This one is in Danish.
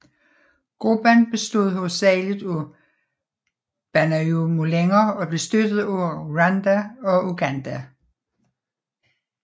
Gruppen bestod hovedsagelig af banyamulenger og blev støttet af Rwanda og Uganda